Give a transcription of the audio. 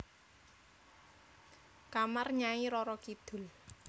Kamar Nyai Roro Kidul